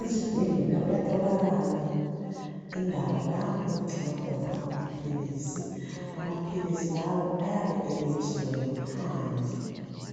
Ezibhedlela kuyatholakala indawo lapho okugcinwa khona amaphilisi amaphilisi lawo ayabe elotshiwe ngaphandle